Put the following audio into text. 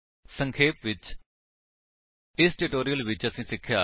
ਸੰਖੇਪ ਵਿੱਚ ਇਸ ਟਿਊਟੋਰਿਅਲ ਵਿੱਚ ਅਸੀਂ ਸਿੱਖਿਆ